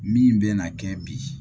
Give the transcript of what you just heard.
Min bɛ na kɛ bi